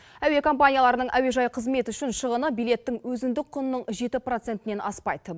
әуе компанияларының әуежай қызметі үшін шығыны билеттің өзіндік құнының жеті процентінен аспайды